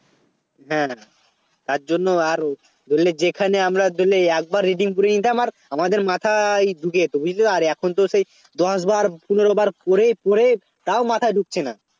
হ্যাঁ তার জন্য আর বুঝলি যেখানে আমরা Daily একবার reading পড়ে নিতাম আর আমাদের মাথায় ঢুকে যেত বুঝলি আর এখন তো সেই দশবার পনেরবার পড়ে পড়ে তাও মাথায় ঢুকছে না